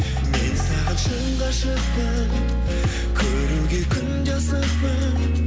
мен саған шын ғашықпын көруге күнде асықпын